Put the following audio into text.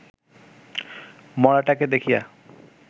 মড়াটাকে দেখিয়া